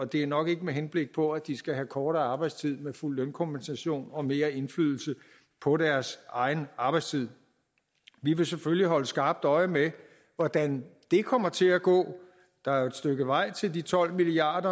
det er nok ikke med henblik på at de skal have kortere arbejdstid med fuld lønkompensation og mere indflydelse på deres egen arbejdstid vi vil selvfølgelig holde skarpt øje med hvordan det kommer til at gå der er jo et stykke vej til de tolv milliard